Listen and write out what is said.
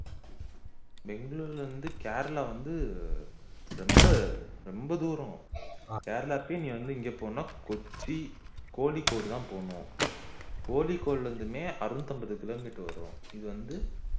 பெங்களூர்ல இருந்து கேரளா வந்து ரொம்ப ரொம்ப தூரம் கேரளா போய் இனி அங்க இருந்து இங்க போகணும்ன்டா கொச்சி கோழிக்கூடு தான் போகணும் கோழிக்கோல் மட்டுமே அறுநூற்று ஐம்பது kilometer மட்டுமே வரும் இது வந்து